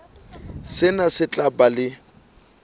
sena se tla ba le